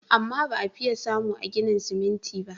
Amma ba a fiye samu a ginin siminti ba.